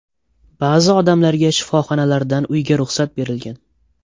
Ba’zi odamlarga shifoxonalardan uyga ruxsat berilgan.